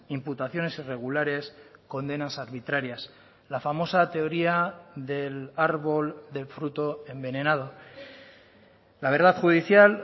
imputaciones irregulares condenas arbitrarias la famosa teoría del árbol del fruto envenenado la verdad judicial